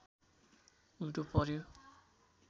उल्टो पर्‍यो